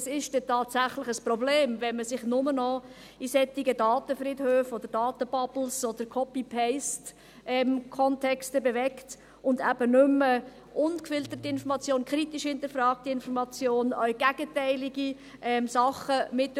Es ist dann tatsächlich ein Problem, wenn man sich nur noch in solchen Datenfriedhöfen, Daten-Bubbles oder Copy-paste-Kontexten bewegt und eben nicht mehr ungefilterte, kritisch hinterfragte Information, auch gegenteilige Dinge mitkriegt.